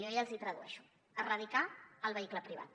jo ja els hi tradueixo erradicar el vehicle privat